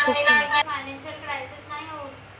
financialcrises नाई होत